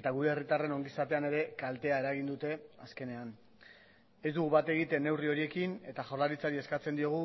eta gure herritarren ongizatean ere kaltea eragin dute azkenean ez dugu bat egiten neurri horiekin eta jaurlaritzari eskatzen diogu